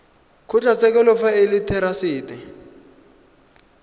kgotlatshekelo fa e le therasete